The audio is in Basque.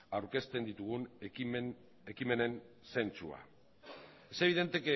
aurkezten ditugun ekimenen zentzua es evidente